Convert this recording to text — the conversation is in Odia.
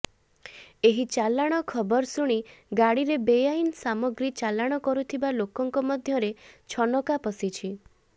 ଏହି ଚାଲାଣ ଖବର ଶୁଣି ଗାଡିରେ ବେଆଇନ ସାମଗ୍ରୀ ଚାଲାଣ କରୁଥିବା ଲୋକଙ୍କ ମଧ୍ୟରେ ଛନକା ପଶିଛି